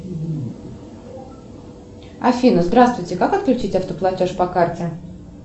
афина здравствуйте как отключить автоплатеж по карте